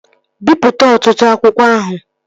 Bipụta ọtụtụ akwụkwọ ahụ!